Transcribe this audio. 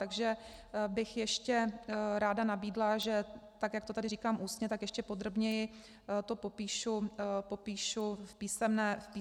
Takže bych ještě ráda nabídla, že tak jak to tady říkám ústně, tak ještě podrobněji to popíšu v písemné podobě.